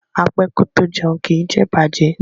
A pẹ́ kó tó jẹun, kí ì jẹ ìbàjẹ́